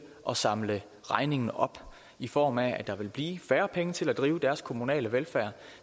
at samle regningen op i form af at der vil blive færre penge til at drive deres kommunale velfærd